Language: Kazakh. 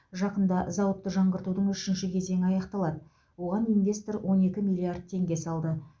жақында зауытты жаңғыртудың үшінші кезеңі аяқталады оған инвестор он екі миллиард теңге салды